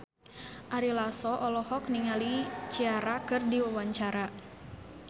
Ari Lasso olohok ningali Ciara keur diwawancara